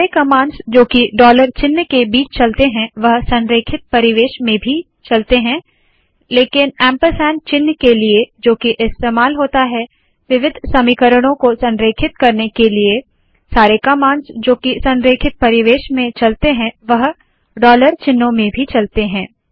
सारे कमांड्स जो की डॉलर चिन्ह के बीच चलते है वह संरेखित परिवेश में भी चलते है लेकिन ऐंपरसैंड चिन्ह के लिए जो की इस्तेमाल होता है विविध समीकरणों को संरेखित करने के लिए सारे कमांड्स जो की संरेकित परिवेश में चलते है वह डॉलर चिन्हों में भी चलते है